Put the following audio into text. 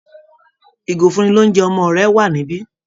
Ìgò ìfúnni-lóunjẹ ọmọ rẹ wà níbí